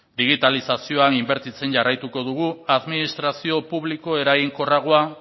digitalizazioan inbertizen jarraituko dugu administrazio publiko eraginkorragoa